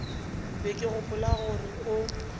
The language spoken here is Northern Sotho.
be ke gopola gore o